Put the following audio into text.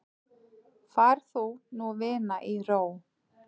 Far þú nú vina í ró.